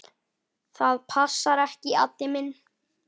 Það passar ekki, Addi minn.